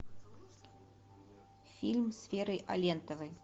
фильм с верой алентовой